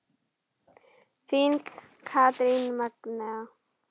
Þín Katrín Magnea.